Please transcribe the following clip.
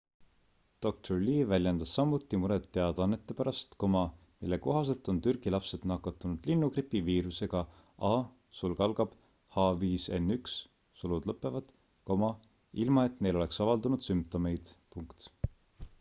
dr lee väljendas samuti muret teadannete pärast mille kohaselt on türgi lapsed nakatunud linnugripi viirusega ah5n1 ilma et neil oleks avaldunud sümptomeid